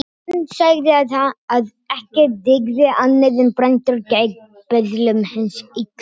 Hann sagði að ekki dygði annað en brandur gegn böðlum hins illa.